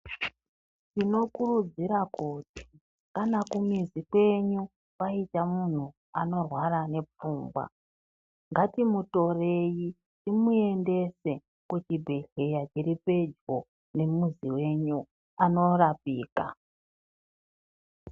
Tinokurudzira kuti kana kumuzi kwenyu kwaita munhu anorwara nepfungwa ngatimutorei timuendese kuchibhedhleya chiri pedyo nemizi yenyu anorapika.